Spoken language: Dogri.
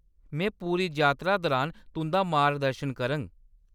में पूरी जातरा दरान तुंʼदा मार्गदर्शन करङ।